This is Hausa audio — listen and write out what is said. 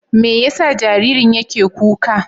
Me yasa jaririn yake kuka?